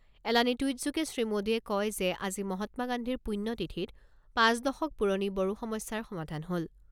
এলানি টুইটযোগে শ্ৰীমোদীয়ে কয় যে, আজি মহাত্মা গান্ধীৰ পূণ্য তিথিত পাঁচ দশক পুৰণি বড়ো সমস্যাৰ সমাধান হ'ল।